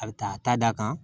A bɛ taa a ta d' a kan